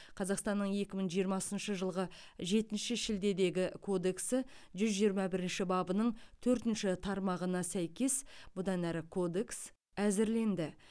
қазақстанның екі мың жиырмасыншы жылғы жетінші шілдедегі кодексі жүз жиырма бірінші бабының төртінші тармағына сәйкес бұдан әрі кодекс әзірленді